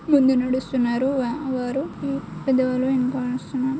ముందు నడుస్తున్నారు వారు వారు పెద్దవలు వెనక నడుస్తున్నారు.